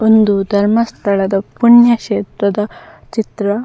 ಉಂದು ಧರ್ಮಸ್ಥಳ ದ ಪುಣ್ಯಕ್ಷೆತ್ರದ ಚಿತ್ರ.